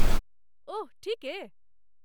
ओह, ठीके?